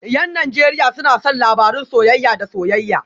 Yan Najeriya suna son labarun soyayya da soyayya